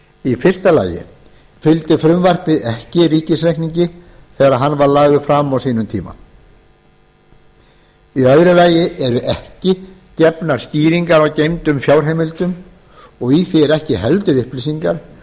í fyrsta lagi fylgdi frumvarpið ekki ríkisreikningi þegar hann var lagður fram á sínum tíma í öðru lagi eru ekki gefnar skýringar á geymdum fjárheimildum og í því eru ekki heldur upplýsingar